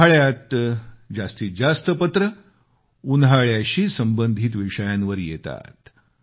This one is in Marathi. उन्हाळ्यात जास्तीत जास्त पत्र उन्हाळ्याशी संबधित विषयांवर येतात